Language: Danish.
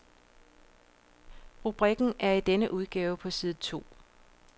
Rubrikken er i denne udgave på side to.